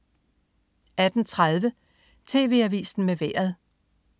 18.30 TV Avisen med Vejret